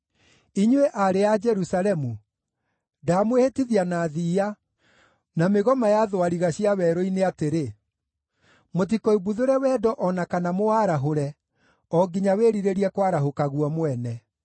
Inyuĩ aarĩ a Jerusalemu, ndamwĩhĩtithia na thiiya, na mĩgoma ya thwariga cia werũ-inĩ atĩrĩ: Mũtikoimbuthũre wendo o na kana mũwarahũre, o nginya wĩrirĩrie kwarahũka guo mwene.